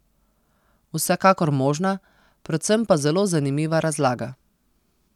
Vsekakor možna, predvsem pa zelo zanimiva razlaga.